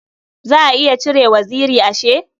Za a iya cire waziri ashe?